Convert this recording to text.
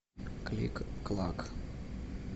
кликклак